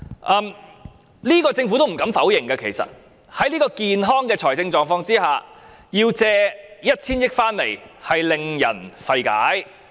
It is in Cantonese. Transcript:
其實政府也不敢否認，因此，在這樣健康的財政狀況下須舉債 1,000 億元，實在令人費解。